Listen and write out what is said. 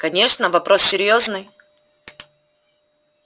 конечно вопрос серьёзный